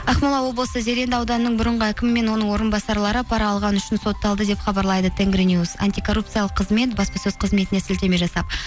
ақмола облысы зеренді ауданының бұрынғы әкімі мен оның орынбасарлары пара алғаны үшінші сотталды деп хабарлайды тенгринюс антикорупциялық қызмет баспасөз қызметіне сілтеме жасап